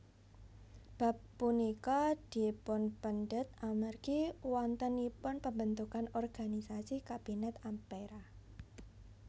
Bab punika dipunpendhet amargi wontenipun pembentukan organisasi Kabinet Ampera